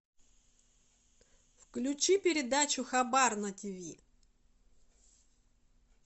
включи передачу хабар на тв